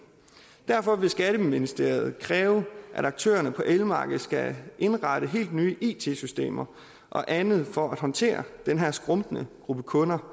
derfor vil skatteministeriet kræve at aktørerne på elmarkedet skal indrette helt nye it systemer og andet for at håndtere den her skrumpende gruppe kunder